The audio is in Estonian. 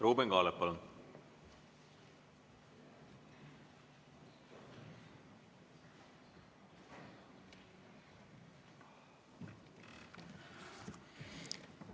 Ruuben Kaalep, palun!